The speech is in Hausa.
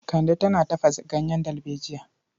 Kande tana tafasa ganyen dalbejiya.